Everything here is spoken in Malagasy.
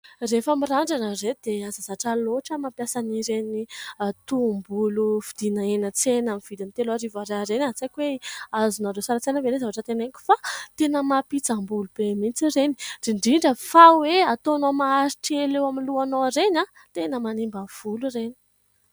Rehefa mirandrana re dia aza zatra lohatra mampiasa an' ireny tohim-bolo vidina eny an-tsena amin' ny vidiny teloarivo ariary ireny. Ary tsy haiko hoe azonareo sary an-tsaina ve ilay zavatra teneniko fa tena mampihitsam-bolo be mihintsy ireny ? Indrindra indrindra fa hoe ataonao maharitra ela eo amin'ny lohanao ireny tena manimba volo ireny.